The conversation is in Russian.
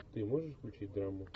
ты можешь включить драму